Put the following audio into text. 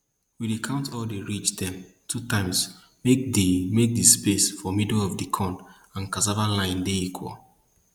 we dey count all di ridge dem two times make di make di space for middle of di corn and cassava line equal